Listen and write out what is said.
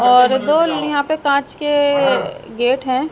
और दो यहां पर कांच के गेट हैं।